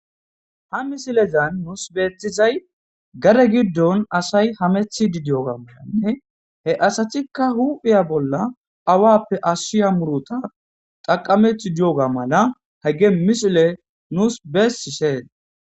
ha misilezan nuus beethizay gade giddon asay hamethidi diyoga malanne he asatikka huphiya bolla awappe ashshiya muruta xaqamethi diyoga mala hagge misile nuus beessisheen.